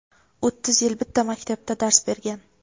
o‘ttiz yil bitta maktabda dars bergan.